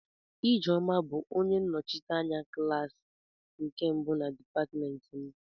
Ijeoma bu onye nnochite anya klaasị nwanyi nke mbu na dipatịmentị m.